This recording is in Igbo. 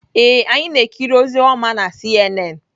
Ee, anyị na-ekiri ozi ọma na CNN.